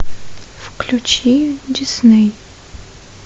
включи дисней